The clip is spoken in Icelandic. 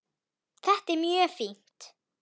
Þetta er mjög fínt.